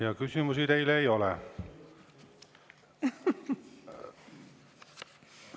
Ja küsimusi teile ei ole.